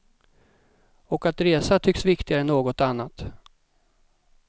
Och att resa tycks viktigare än något annat.